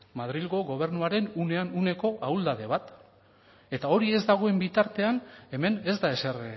madrilgo gobernuaren unean uneko ahuldade bat eta hori ez dagoen bitartean hemen ez da ezer